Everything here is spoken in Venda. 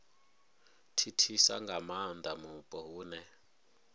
thithisa nga maanda mupo hune